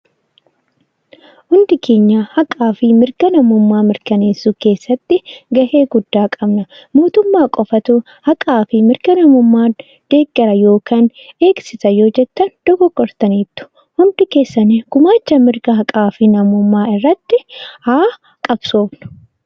Hundi keenya haqaa fi mirga namummaa mirkaneessuu keessatti gahee guddaa qabna. Mootummaa qofatu haqaa fi mirga namummaan deeggara yookaan beeksisa yoo jettan dogoggortaniittu. Hundi keessan gumaacha mirga haqaa fi namummaa irratti haa qabsoofnu!